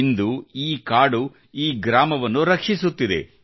ಇಂದು ಈ ಕಾಡು ಈ ಗ್ರಾಮವನ್ನು ರಕ್ಷಿಸುತ್ತಿದೆ